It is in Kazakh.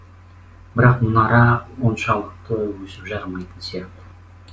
бірақ мұнара оншалықты өсіп жарымайтын сияқты